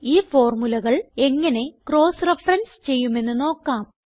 ഈ ഫോർമുലകൾ എങ്ങനെ ക്രോസ് റഫറൻസ് ചെയ്യുമെന്ന് നോക്കാം